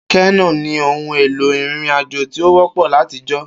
Kenó ni ohun-èlò ìrìnrìn-àjò tí ó wọ́pọ̀ látijọ́.